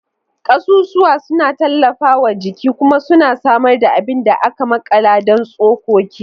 Kasusuwa suna tallafawa jiki kuma suna samar da abin da aka makala don tsokoki.